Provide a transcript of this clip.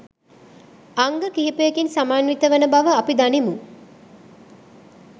අංග කිහිපයකින් සමන්විත වන බව අපි දනිමු.